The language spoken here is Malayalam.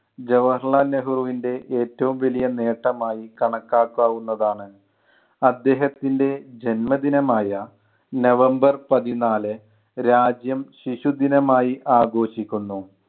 ജവാഹർലാൽ നെഹ്രുവിൻ്റെ ഏറ്റവും വലിയ നേട്ടമായി കണക്കാക്കാവുന്നതാണ്. അദ്ദേഹത്തിൻ്റെ ജന്മദിനമായ നവംബർ പതിനാല് രാജ്യം ശിശുദിനമായി ആഘോഷിക്കുന്നു.